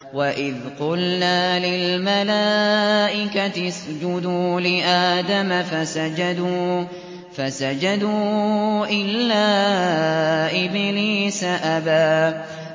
وَإِذْ قُلْنَا لِلْمَلَائِكَةِ اسْجُدُوا لِآدَمَ فَسَجَدُوا إِلَّا إِبْلِيسَ أَبَىٰ